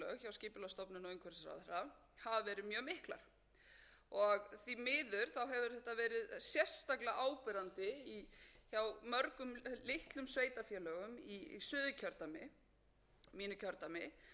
sveitarfélög hjá skipulagsstofnun og umhverfisráðherra hafa verið mjög miklar því miður hefur þetta verið sérstaklega áberandi hjá mörgum litlum sveitarfélögum í suðurkjördæmi mínu kjördæmi og má þar nefna flóahrepp skeiða